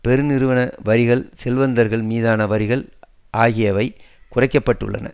பெருநிறுவன வரிகள் செல்வந்தர்கள் மீதான வரிகள் ஆகியவை குறைக்க பட்டுள்ளன